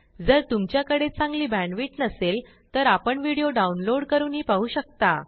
जर तुमच्याकडे चांगली बॅण्डविड्थ नसेल तर आपण व्हिडिओ डाउनलोड करूनही पाहू शकता